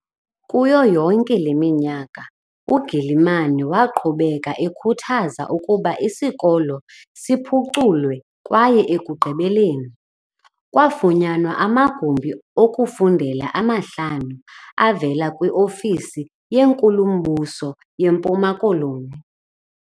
Kuyo yonke le minyaka, u-Gilman waqhubeka ekhuthaza ukuba isikolo siphuculwe kwaye ekugqibeleni, kwafunyanwa amagumbi okufundela amahlanu avela kwi-Ofisi yeNkulumbuso yeMpuma Koloni.